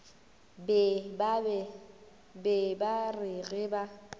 be ba re ge ba